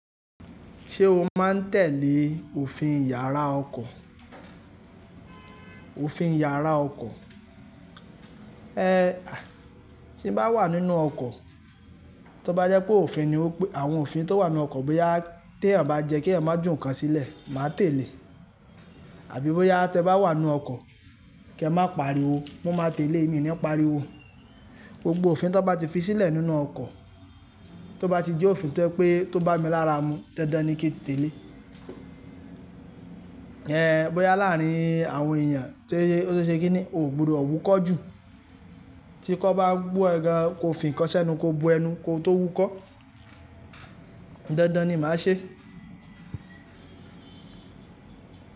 Ṣé o máa ń tẹ̀lé òfin iyàrá ọkọ̀? Òfin iyàrá ọkọ̀. Ehn, tí n bá wà nínú ọkọ̀, tó bá jẹ́ pé òfin ni wípé àwọn òfin tó wà nínú ọkọ̀ bóyá tí eeyan bá jẹ́ kí ẹ̀ má jù nǹkan sílẹ̀, màá tẹ̀lé. Àbí bóyá te bá wà nínú ọkọ̀, kí ẹ má pariwo, mo máa tẹ̀lé, mi ni pariwo. Gbogbo òfin tó bá ti fi sílẹ̀ nínú ọkọ̀, tó bá ti jẹ́ òfin tó je pé tó bá mi lára mu, dandan ni kí n tẹ̀lé. Ehn, bóyá láàárín àwọn èèyàn, tó ṣe kí ni, ògbùdò wúkọ́ jù, tí kò bá gbú ẹ gàn, ko fin nkan sẹnu, ko bo ẹnu, ko tó wúkọ́. Dandan ni màá ṣe.